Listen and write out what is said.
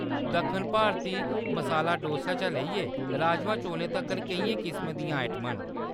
दक्खन भारती मसाला डोसे शा लेइयै राजमांह् चौलें तक्कर केइयें किसमें दियां आइटमां न।